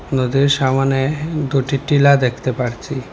নদীর সামনে দুটি টিলা দেখতে পারছি।